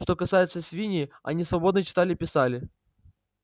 что касается свиней они свободно читали и писали